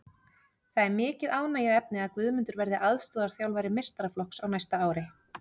Það er mikið ánægjuefni að Guðmundur verði aðstoðarþjálfari meistaraflokks á næsta ári.